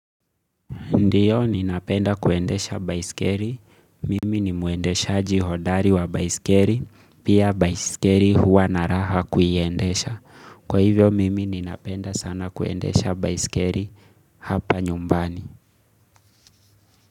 Ndiyo, ninapenda kuendesha baisikeli. Mimi ni muendeshaji hodari wa baisikeli. Pia baisikeri huwa na raha kuiendesha. Kwa hivyo, mimi ninapenda sana kuendesha baisikeri hapa nyumbani.